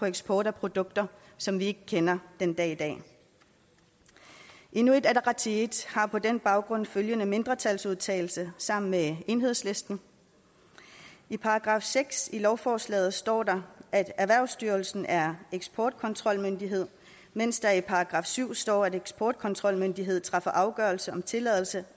eksport af produkter som vi ikke kender den dag i dag inuit ataqatigiit har på den baggrund følgende mindretalsudtalelse sammen med enhedslisten i § seks i lovforslaget står der at erhvervsstyrelsen er eksportkontrolmyndighed mens der i § syv står at eksportkontrolmyndigheden træffer afgørelse om tilladelse